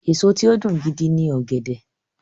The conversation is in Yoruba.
Èso tí ó dùn gidi ni ọ̀gẹ̀dẹ̀.